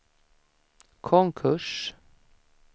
konkurs